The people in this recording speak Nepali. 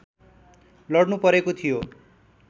लड्नुपरेको थियो